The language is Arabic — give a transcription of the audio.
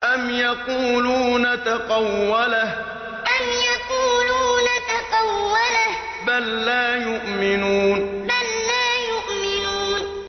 أَمْ يَقُولُونَ تَقَوَّلَهُ ۚ بَل لَّا يُؤْمِنُونَ أَمْ يَقُولُونَ تَقَوَّلَهُ ۚ بَل لَّا يُؤْمِنُونَ